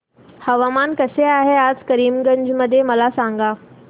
हवामान कसे आहे आज करीमगंज मध्ये मला सांगा